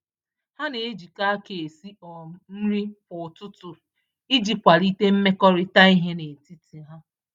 Ha na-ejikọ aka esi um nri kwa ụtụtụ iji, kwalite mmekọrịta ihe n'etiti ha